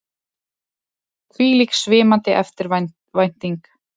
Hvílík svimandi eftirvænting!